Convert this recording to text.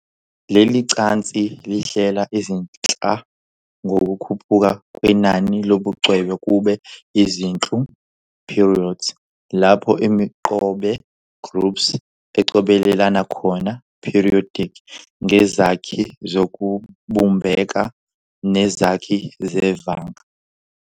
Leli cansi lihlela izinhlwa ngokukhuphuka kwenani lobuchwe kube izinhlu, "periods", lapho imiqobe, "groups", ecobelelana khona, "periodic", ngezakhi zokubumbeka nezakhi zevanga.